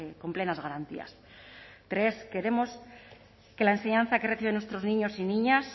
con plenas garantías tres queremos que la enseñanza que reciben nuestros niños y niñas